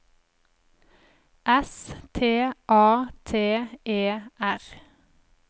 S T A T E R